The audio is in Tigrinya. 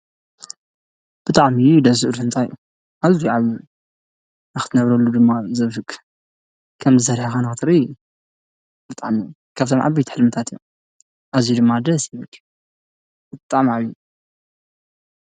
ብጣዕሚ ደስ ዝብል ህንጻ እዩ፤ ኣዝዩ ዓብይ እዩ ፤ንክትነብረሉ ድማ ዘብህግ ከምዚ ሰርሕካ ንክትርኢ ብጣዕሚ ካብቶም ዓበይቲ ሕልምታት እዩ፤ ኣዝዩ ድማ ደስ ይብል ብጣዕሚ ዓብይ እዩ ።